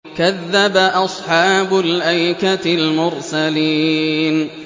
كَذَّبَ أَصْحَابُ الْأَيْكَةِ الْمُرْسَلِينَ